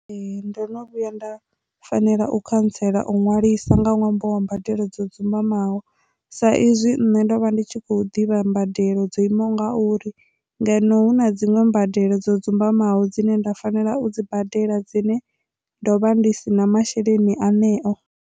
Ee, ndo no vhuya nda fanela u khantsela u nwalisa nga ṅwambo wa mbadelo dzo dzumbamaho sa izwi nṋe ndo vha ndi tshi kho ḓivha mbadelo dzo imaho ngauri ngeno hu na dziṅwe mbadelo dzo dzumbamaho dzine nda fanela u dzibadela dzine ndovha ndi si na masheleni aṋeo.